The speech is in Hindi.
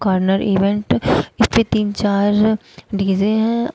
अंदर इवेंट इसमें तीन चार डी_जे हैं।